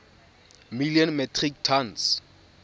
million metric tons